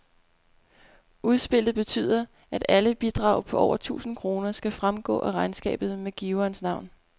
Udspillet betyder, at alle bidrag på over tusind kroner skal fremgå af regnskabet med giverens navn.